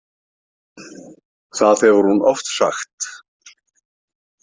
Það hefur hún oft sagt.